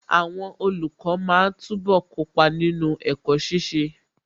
Àwọn olùkọ́ máa túbọ̀ kópa nínú ẹ̀kọ́ ṣiṣẹ́.